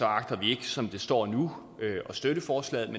agter vi ikke som det står nu at støtte forslaget